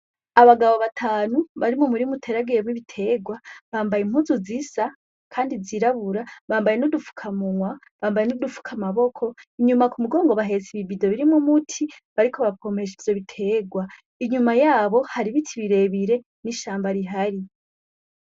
Abagabo batanu bari m'umurima uteragiyemwo ibiterwa, bambaye impuzu zisa kandi zirabura, bambaye n'udufuka k'umunwa, bambaye n'udufuka amaboko, kumugongo bahetse ib'ibido birimwo umuti bariko bapompesha ivyo biterwa, inyuma yabo hari ibiti birebire n'ishamba rihari.